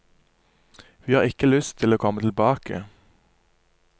Vi har ikke lyst til å komme tilbake.